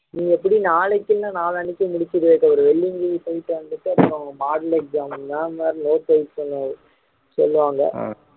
நீ எப்படியும் நாளைக்கு இல்லன்னா நாளனைக்கு முடிச்சிடு விவேக் வெள்ளியங்கிரி போயிட்டு வந்துட்டு அப்பறம் model exam ma'am வேற note submit பண்ண சொல்லுவாங்க